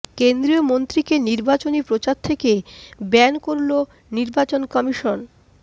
কেন্দ্রীয় মন্ত্রীকে নির্বাচনী প্রচার থেকে ব্যান করল নির্বাচন কমিশন